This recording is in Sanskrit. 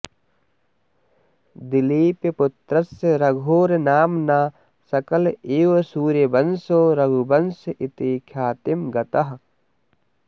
दिलीपपुत्रस्य रघोर्नाम्ना सकल एव सूर्यवंशो रघुवंश इति ख्यातिं गतः